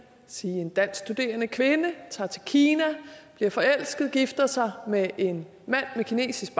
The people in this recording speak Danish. sige at en dansk studerende kvinde tager til kina bliver forelsket og gifter sig med en mand med kinesisk